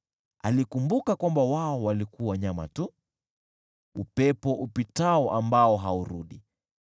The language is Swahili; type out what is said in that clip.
Alikumbuka kwamba wao walikuwa nyama tu, upepo upitao ambao haurudi.